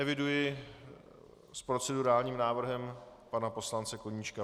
Eviduji s procedurálním návrhem pana poslance Koníčka.